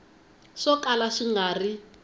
swo kala swi nga ri